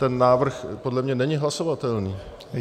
Ten návrh podle mě není hlasovatelný.